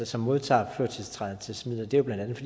som modtager førtiltrædelsesmidler blandt andet